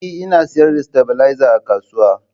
Ee, Ina sayar da stabilizer a kasuwa